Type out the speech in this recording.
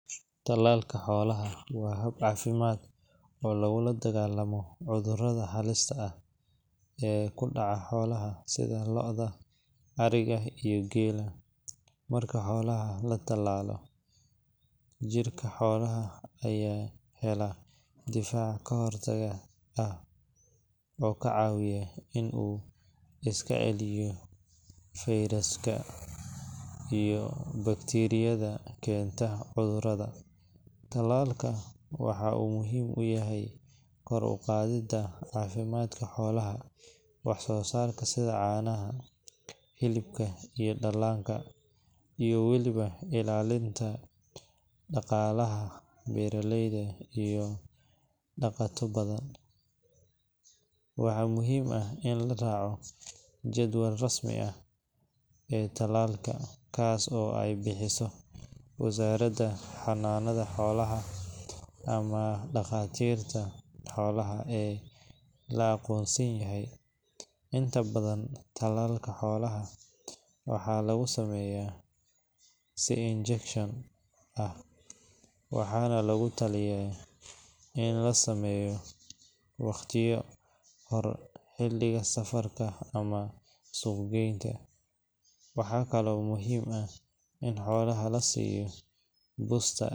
Tallalka xoolaha waa hab caafimaad oo lagula dagaallamo cudurrada halista ah ee ku dhaca xoolaha sida lo’da, ariga, iyo geela. Marka xoolaha la tallalo, jirka xoolaha ayaa helaya difaac ka hortaga ah oo ka caawiya in uu iska celiyo fayrasyada iyo bakteeriyada keenta cudurrada. Tallalka waxa uu muhiim u yahay kor u qaadidda caafimaadka xoolaha, wax-soosaarka sida caanaha, hilibka, iyo dhallaanka, iyo weliba ilaalinta dhaqaalaha beeraleyda iyo dhaqato badan. Waxaa muhiim ah in la raaco jadwalka rasmiga ah ee tallalka, kaas oo ay bixiso wasaaradda xanaanada xoolaha ama dhakhaatiirta xoolaha ee la aqoonsan yahay. Inta badan tallaalka xoolaha waxa lagu sameeyaa si injection ah, waxaana lagula taliya in la sameeyo ka hor xilliga safarka ama suuq geynta. Waxaa kaloo muhiim ah in xoolaha la siiyo booster.